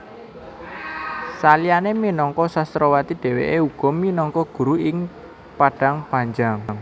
Saliyané minangka sastrawati dhèwèké uga minangka guru ing Padangpanjang